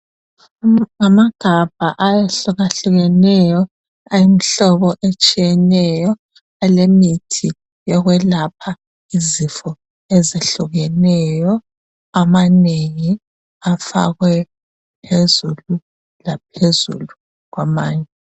Ngamagabha ahlukahlukeneyo awemhlobo etshiyeneyo elemithi yokwelapha Izifo ezihlukeneyo amanengi afakwe phezulu laphezulu kwamanye.